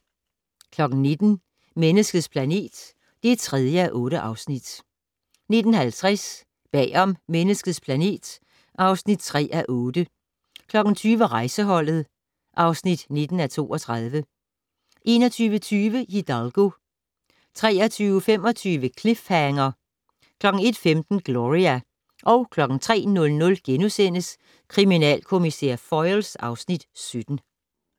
19:00: Menneskets planet (3:8) 19:50: Bag om Menneskets planet (3:8) 20:00: Rejseholdet (19:32) 21:20: Hidalgo 23:25: Cliffhanger 01:15: Gloria 03:00: Kriminalkommissær Foyle (Afs. 17)*